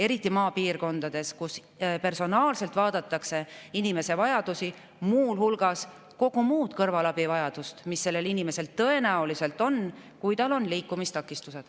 Eriti maapiirkondades vaadatakse personaalselt inimese vajadusi, muu hulgas kogu muu kõrvalabi vajadust, mis sellel inimesel tõenäoliselt on, kui tal on liikumistakistused.